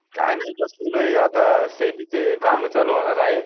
काय नाय बसलोय आता शेतीची काम चालू होणार आहेत.